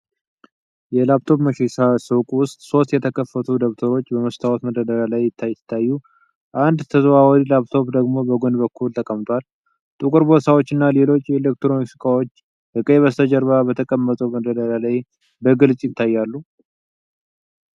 የላፕቶፕ መሸጫ ሱቅ ውስጥ ሦስት የተከፈቱ ደብተሮች (laptops) በመስታወት መደርደሪያ ላይ ሲታዩ፣ አንድ ተዘዋዋሪ ላፕቶፕ ደግሞ በጎን በኩል ተቀምጧል። ጥቁር ቦርሳዎች እና ሌሎች የኤሌክትሮኒክስ እቃዎች ከቀይ ከበስተጀርባ በተቀመጠው መደርደሪያ ላይ በግልጽ ይታያሉ።